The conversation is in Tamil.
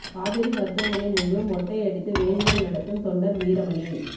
காவேரி மருத்துவமனை முன்பு மொட்டை அடித்து வேண்டுதல் நடத்தும் தொண்டர் வீரமணி